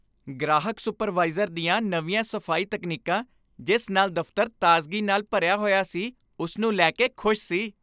ਗ੍ਰਾਹਕ ਸੁਪਰਵਾਈਜ਼ਰ ਦੀਆਂ ਨਵੀਆਂ ਸਫ਼ਾਈ ਤਕਨੀਕਾਂ ਜਿਸ ਨਾਲ ਦਫਤਰ ਤਾਜ਼ਗੀ ਨਾਲ ਭਰਿਆ ਹੋਇਆ ਸੀ ਉਸ ਨੂੰ ਲੈ ਕੇ ਖੁਸ਼ ਸੀ I